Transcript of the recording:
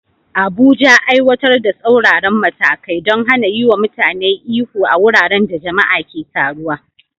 Abuja, aiwatar da tsauraran matakai don hana yiwa mutane ihu a wuraren da jama'a ke taruwa.